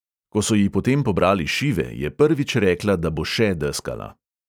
Ko so ji potem pobrali šive, je prvič rekla, da bo še deskala.